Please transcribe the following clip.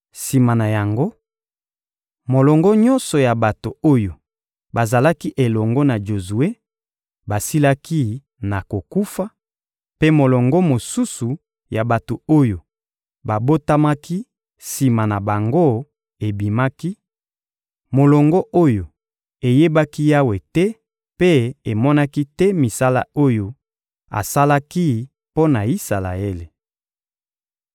Sima na yango, molongo nyonso ya bato oyo bazalaki elongo na Jozue basilaki na kokufa; mpe molongo mosusu ya bato oyo babotamaki sima na bango ebimaki, molongo oyo eyebaki Yawe te mpe emonaki te misala oyo asalaki mpo na Isalaele.